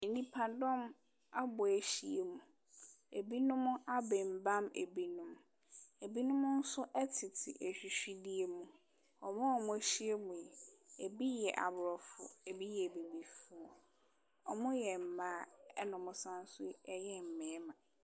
Nnipadɔm abɔ ahyia mu, binom abembam binom, binom nso te afifidie mu, wɔn a wɔahyia mu yi, bi yɛ aborɔfo, bi yɛ abibifo. Wɔyɛ mmaa na wɔsan nso yɛ mmarima.